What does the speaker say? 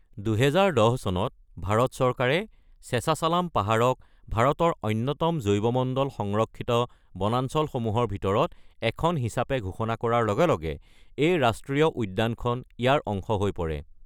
২০১০ চনত ভাৰত চৰকাৰে শেচাছালাম পাহাৰক ভাৰতৰ অন্যতম জৈৱমণ্ডল সংৰক্ষিত বনাঞ্চলসমূহৰ ভিতৰত এখন হিচাপে ঘোষণা কৰাৰ লগে লগে এই ৰাষ্ট্ৰীয় উদ্যানখন ইয়াৰ অংশ হৈ পৰে।